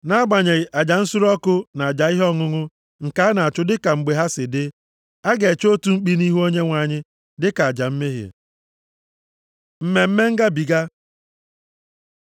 nʼagbanyeghị aja nsure ọkụ na aja ihe ọṅụṅụ nke a na-achụ dịka mgbe ha si dị, a ga-eche otu mkpi nʼihu Onyenwe anyị dịka aja mmehie. Mmemme Ngabiga